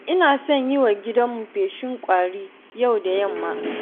Ina son yi wa gidanmu feshin ƙwari yau da yamma.